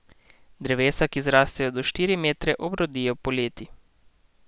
Drevesa, ki zrastejo do štiri metre, obrodijo poleti.